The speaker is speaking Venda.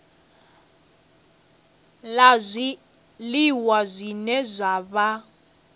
la zwiliwa zwine zwa vha